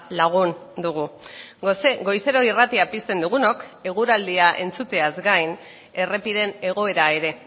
lagun dugu goizero irratia pizten dugunok eguraldia entzuteaz gain errepideen egoera ere